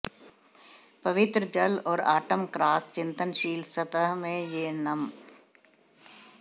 पवित्र जल और ऑटम क्रॉस चिंतनशील सतह में यह नम